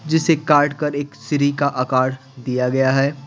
जिसे काटकर एक सिरी का आकार दिया गया है।